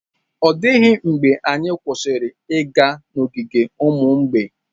Ọ dịghị mgbe anyị kwụsịrị ịga n'ogige ụmụ mgbei.